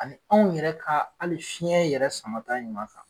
Ani anw yɛrɛ ka hali fiɲɛ yɛrɛ samata ɲuman kan.